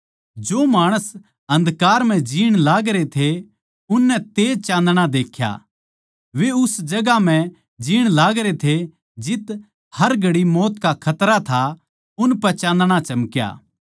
जो माणस अन्धकार म्ह जीण लागरे थे उननै तेज चान्दणा देख्या वे उस जगहां म्ह जीण लागरे थे जित्त हर घड़ी मौत का खतरा था उनपै चान्दणा चमक्या